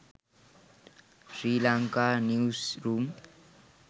sri lanka newsroom